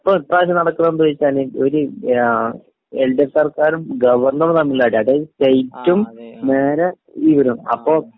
ഇപ്പൊ, ഇപ്പ്രാവശ്യം നടക്കുന്നത് എന്താ നു വച്ചാല് ഇവര് എൽ.ഡി.എഫ് സർക്കാറും ഗവർണറും തമ്മിലാ അടി, അതായത് സ്റ്റേറ്റും നേരെ ഇവരും.അപ്പൊ...